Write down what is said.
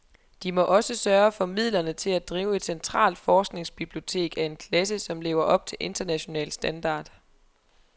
De må også sørge for midlerne til at drive et centralt forskningsbibliotek af en klasse, som lever op til international standard.